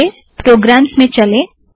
आईए प्रोग्राम्स में चलें